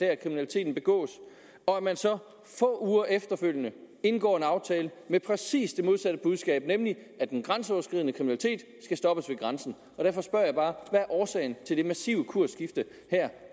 der kriminaliteten begås og at man så få uger efter indgår en aftale med præcis det modsatte budskab nemlig at den grænseoverskridende kriminalitet skal stoppes ved grænsen derfor spørger jeg bare hvad er årsagen til det massive kursskifte her